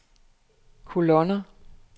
kolonner